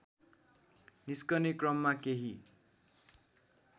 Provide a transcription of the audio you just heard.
निस्कने क्रममा केही